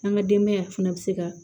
An ka denbaya fana bɛ se ka